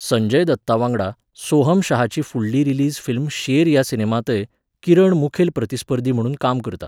संजय दत्तावांगडा, सोहम शहाची फुडली रिलीज फिल्म शेर ह्या सिनेमांतय, किरण मुखेल प्रतिस्पर्धी म्हुणून काम करता.